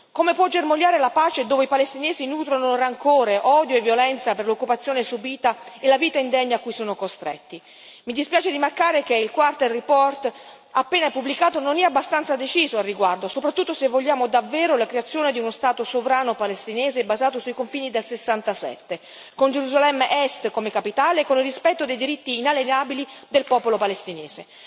Come può germogliare la pace dove i palestinesi nutrono rancore, odio e violenza per l'occupazione subita e la vita indegna cui sono costretti? Mi dispiace rimarcare che il rapporto del Quartetto appena pubblicato non è abbastanza deciso al riguardo, soprattutto se vogliamo davvero la creazione di uno Stato sovrano palestinese basato sui confini del 67, con Gerusalemme Est come capitale e con il rispetto dei diritti inalienabili del popolo palestinese.